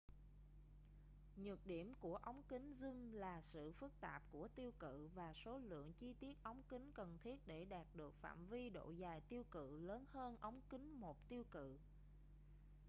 nhược điểm của ống kính zoom là sự phức tạp của tiêu cự và số lượng chi tiết ống kính cần thiết để đạt được phạm vi độ dài tiêu cự lớn hơn ống kính một tiêu cự